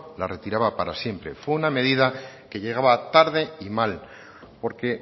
las retiraba para siempre fue una medida que llegaba tarde y mal porque